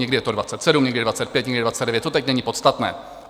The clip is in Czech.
Někdy je to 27, někdy 25, někdy 29, to teď není podstatné.